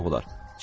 yoxlayırdılar.